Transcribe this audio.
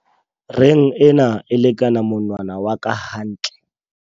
Reng ena e lekana monwna wa ka hantle.